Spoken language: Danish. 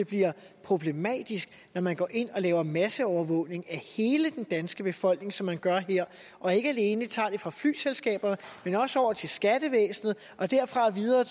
bliver problematisk når man går ind og laver masseovervågning af hele den danske befolkning som man gør her og ikke alene tager det fra flyselskaber men også over til skattevæsenet og derfra videre